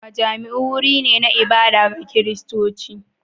Majami'u wuri ne na ibada ga Kiristoci.